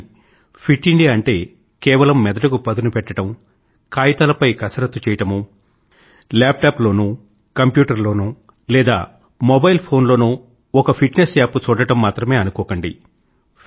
కానీ fit India అంటే కేవలం మెదడుకు పదునుపెట్టడం కాయితాలపై కసరత్తు చేయడమో లేదా ల్యాప్ టాప్ లోనో కంప్యూటర్ లోనో లేదా మొబైల్ ఫోన్ లోనో ఒక ఫిట్ నెస్ యాప్ చూడడం మాత్రమే అనుకోకండి